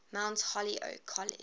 mount holyoke college